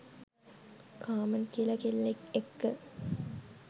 කාමන් කියලා කෙල්ලෙක් එක්ක